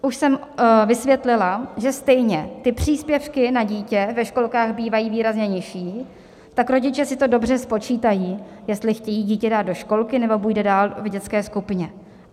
Už jsem vysvětlila, že stejně ty příspěvky na dítě ve školkách bývají výrazně nižší, tak rodiče si to dobře spočítají, jestli chtějí dítě dát do školky, nebo bude dál v dětské skupině.